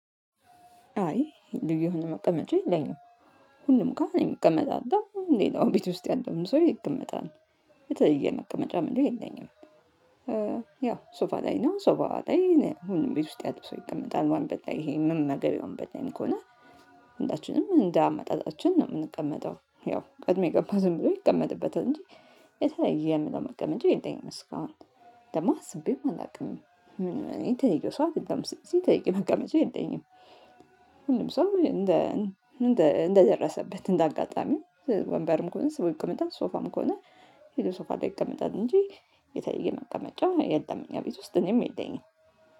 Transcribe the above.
አይ ልዩ መቀመጫ የለኝም። ሁሉም ጋር እኔም እቀመጣለሁ ሌላው ቤት ውስጥ ያለውም ሰው ይቀመጣል። የተለየ መቀመጫ እምለው የለኝም። ያው ሶፋ ላይ ነው። ሶፋ ላይ ሁሉም ቤት ውስጥ ያለው ሰው ይቀመጣል ወንበር በላይ ይሄ ምንም ነገር የለዉም። ነኝ ወንበር ላይ ከሆነ እንዳችንም እንደ አመጣጣችን ነው የምንቀመጠው። ያው ቀድም የገባው ዝም ብሎ ይቀመጥበታል እንጂ የተለየ የምለው መቀመጫ የለምኝም። እስካሁን ደግሞ አስቤም አላውቅም። እኔ የተለየው ሰው አይደለሁም ሲተይ ጠይቀኝ መቀመጫ የለኝም። ሁሉም ሰው እንደ እንደደረሰበት እንደ አጋጣሚ ወንበርም ከሆነ ስቦ ይቀመጣል ሶፋም ከሆነ ሄዶ ሶፋ ላይ ይቀመጣል። እንጂ የተለየ መቀመጫ የለም። እኛ ቤት ውስጥ እኔም የለኝም